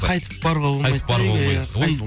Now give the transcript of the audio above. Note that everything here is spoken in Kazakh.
қайтып баруға болмайды қайтып баруға болмайды